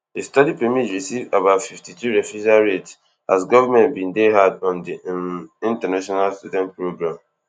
di study permits receive about fifty-two refusal rate as govment bin dey hard on di um international student program